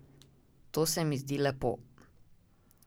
To se mi zdi lepo.